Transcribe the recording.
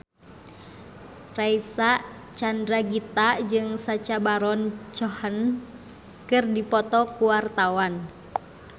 Reysa Chandragitta jeung Sacha Baron Cohen keur dipoto ku wartawan